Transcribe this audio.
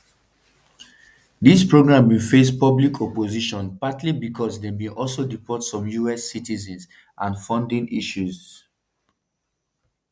dis programme bin face public opposition partly becos dem bin also deport some us citizens and funding issues